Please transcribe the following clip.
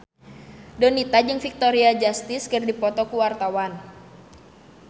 Donita jeung Victoria Justice keur dipoto ku wartawan